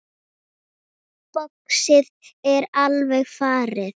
Boxið er alveg farið.